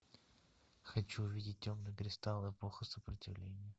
хочу увидеть темный кристалл эпоха сопротивления